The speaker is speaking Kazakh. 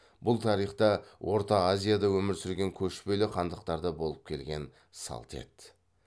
бұл тарихта орта азияда өмір сүрген көшпелі хандықтарда болып келген салт еді